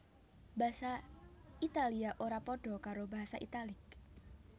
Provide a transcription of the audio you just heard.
Basa Italia ora padha karo basa Italik